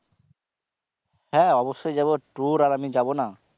হ্যাঁ অবশ্যই যাবো tour আর আমি যাবো না?